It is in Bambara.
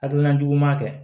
Hakilina jugu ma kɛ